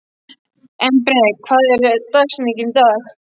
Embrek, hver er dagsetningin í dag?